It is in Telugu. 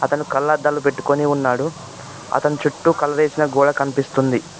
అతను కళ్లద్దాలు పెట్టుకొని ఉన్నాడు అతను చుట్టూ కలవేసిన గోడ కనిపిస్తుంది.